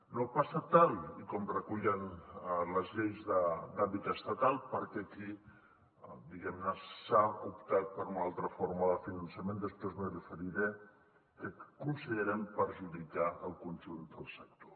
no passa tal com recullen les lleis d’àmbit estatal perquè aquí diguem ne s’ha optat per una altra forma de finançament després m’hi referiré que considerem que perjudica el conjunt del sector